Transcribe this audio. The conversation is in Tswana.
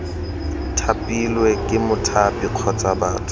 thapilwe ke mothapi kgotsa batho